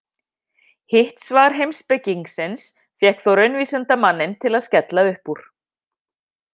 Hitt svar heimspekingsins fékk þó raunvísindamanninn til að skella upp úr.